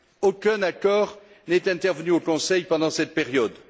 Aucun accord n'est intervenu au Conseil pendant cette période.